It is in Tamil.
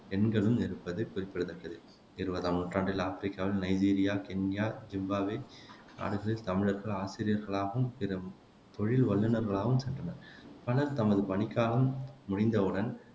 எண்களும் இருப்பது குறிப்பிடத்தக்கது இருவதாம் நூற்றாண்டில் ஆப்பிரிக்காவின் நைஜீரியா, கென்யா, சிம்பாப்வே நாடுகளுக்குத் தமிழர்கள் ஆசிரியர்களாகவும், பிற தொழில் வல்லுநர்களாகவும் சென்றனர் பலர் தமது பணிக்காலம் முடிந்தவுடன்